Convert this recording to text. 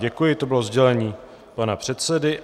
Děkuji, to bylo sdělení pana předsedy.